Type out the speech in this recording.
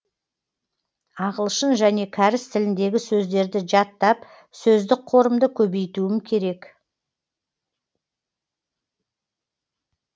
ағылшын және кәріс тіліндегі сөздерді жаттап сөздік қорымды көбейтуім керек